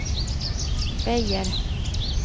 Beijer